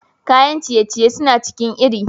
Kayan ciye-ciye suna cikin iri.